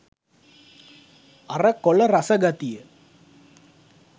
අර කොල රස ගතිය